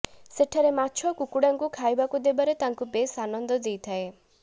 ସେଠାରେ ମାଛ କୁକୁଡାଙ୍କୁ ଖାଇବାକୁ ଦେବାରେ ତାଙ୍କୁ ବେଶ ଆନନ୍ଦ ଦେଇଥାଏ